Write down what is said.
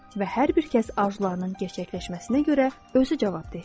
Və hər bir kəs arzularının gerçəkləşməsinə görə özü cavabdehdir.